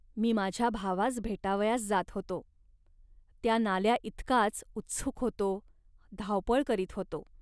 मी माझ्या भावास भेटावयास जात होतो. त्या नाल्याइतकाच उत्सुक होतो, धावपळ करीत होतो